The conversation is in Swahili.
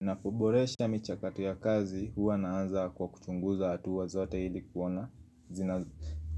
Na kuboresha michakato ya kazi huwa naanza kwa kuchunguza hatua zote ili